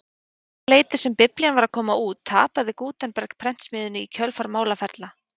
Um það leyti sem biblían var að koma út tapaði Gutenberg prentsmiðjunni í kjölfar málaferla.